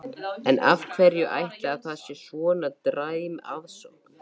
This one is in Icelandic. En af hverju ætli að það sé svona dræm aðsókn?